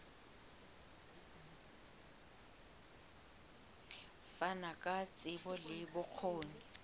fana ka tsebo le bokgoni